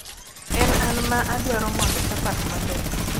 en an ma adwaro mondo chapat maber